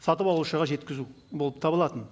сатып алушыға жеткізу болып табылатын